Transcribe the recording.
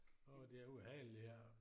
Åh det er ubehageligt det her